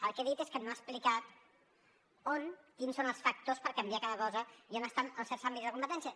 el que he dit és que no ha explicat on quins són els factors per canviar cada cosa i on estan els certs àmbits de competència